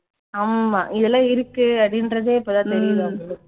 ஆமா இதெல்லாம் இருக்கு அப்படின்றதே இப்பதான் தெரியுது அவங்களுக்கு